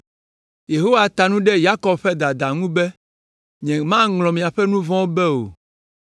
Yehowa ta nu ɖe Yakob ƒe dada ŋu be, “Nyemaŋlɔ miaƒe nu vɔ̃wo be o!